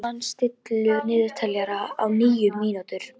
Hálfdan, stilltu niðurteljara á níu mínútur.